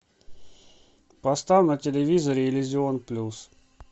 поставь на телевизоре иллюзион плюс